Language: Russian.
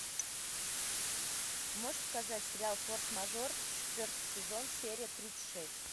можешь показать сериал форс мажор четвертый сезон серия тридцать шесть